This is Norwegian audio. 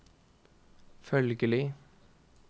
følgelig